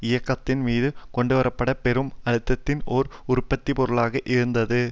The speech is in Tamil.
இயக்கத்தின் மீது கொண்டுவர பட்ட பெரும் அழுத்தத்தின் ஒரு உற்பத்தி பொருளாக இருந்தது